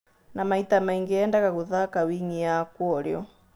Na maita maingĩ endaga gũthaka wing'i ya kũorĩo.